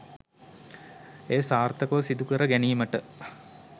එය සාර්ථකව සිදුකර ගැනීමට